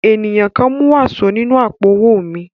Ènìyàn kan mú wàsó nínú àpò-owó mi.